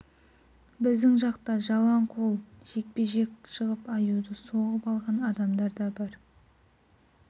біздің жақта жалаң қол жекпе-жек шығып аюды соғып алған адамдар да бар